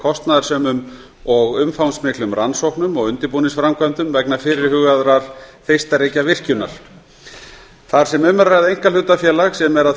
kostnaðarsömum og umfangsmiklum rannsóknum og undirbúningsframkvæmdum vegna fyrirhugaðrar þeistareykjavirkjunar þar sem um er að ræða einkahlutafélag sem er að